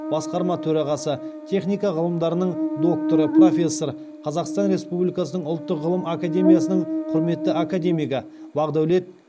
басқарма төрағасы техника ғылымдарының докторы профессор қазақстан республикасының ұлттық ғылым академиясының құрметті академигі бақдәулет